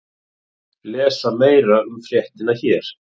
Lesa meira um fréttina hér